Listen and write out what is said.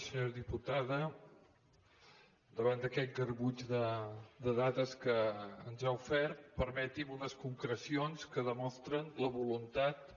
senyora diputada davant d’aquest garbuix de dades que ens ha ofert permeti’m unes concrecions que demostren la voluntat